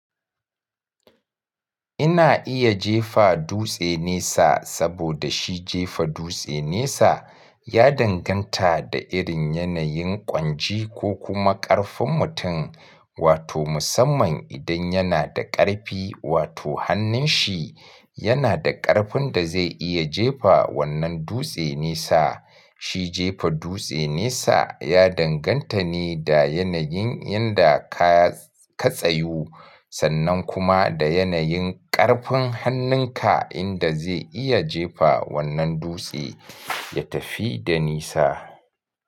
Ina iya jefa dutse nesa saboda shi jefa dutse nesa ya danganta da irin yanayin ƙwanji ko kuma ƙarfin mutum, wato musamman idan yana da ƙarfi wato hannun shi yana da ƙarfin da zai iya jefa wannan dutse nesa. Shi jefa dutse nesa ya danganta ne da yanayin inda ka tsayu sannan kuma da yanayin ƙarfin hannun ka inda zai iya jefa wannan dutse ya tafi da nesa.